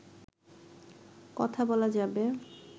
কথা বলা যাবে